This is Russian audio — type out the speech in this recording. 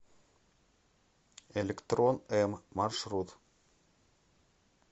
электрон м маршрут